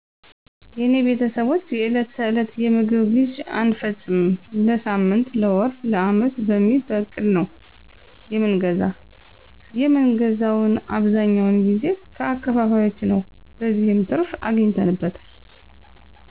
የኔቤተሰቦች የዕለት ተዕለት የምግብ ግዥ አንፈጽምም ለሳምን ለወር ለዓመት በሚል በእቅድ ነዉ የምንገዛ የምን ገዛዉም አብዛኛወነ ጊዜ ከአከፋፋዮችነዉ በዚህም ትርፍ አግኝተነበታል።